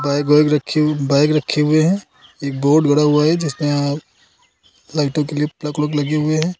Bag वैग रखी bag रखे हुए हैं एक बोर्ड गड़ा हुआ है जिसमें लाइटों के लिए प्लग वलग लगे हुए हैं।